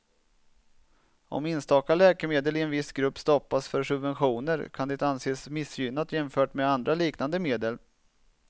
Om enstaka läkemedel i en viss grupp stoppas för subventioner kan det anses missgynnat jämfört med andra liknande medel.